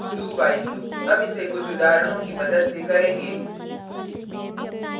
do…while loop हम इसे कुछ उदाहरणों की मदद से करेंगे